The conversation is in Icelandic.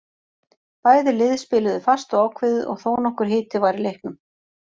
Bæði lið spiluðu fast og ákveðið og þónokkur hiti var í leiknum.